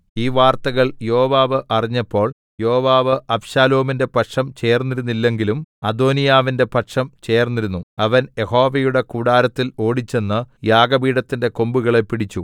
ഈ വാർത്തകൾ യോവാബ് അറിഞ്ഞപ്പോൾയോവാബ് അബ്ശാലോമിന്റെ പക്ഷം ചേർന്നിരുന്നില്ലെങ്കിലും അദോനീയാവിന്റെ പക്ഷം ചേർന്നിരുന്നുഅവൻ യഹോവയുടെ കൂടാരത്തിൽ ഓടിച്ചെന്ന് യാഗപീഠത്തിന്റെ കൊമ്പുകളെ പിടിച്ചു